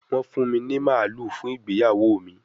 Wọ́n fún mi ní màlúù fún ìgbéyàwó mi